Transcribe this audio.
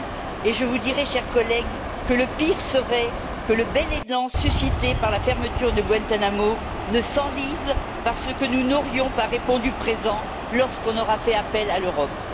Et je vous dirai, chers collègues, que le pire serait que le bel élan suscité par la fermeture de Guantánamo s'enlise parce que nous n'aurions pas répondu présents lorsqu'on aura fait appel à l'Europe.